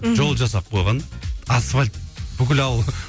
мхм жол жасап қойған асфальт бүкіл ауыл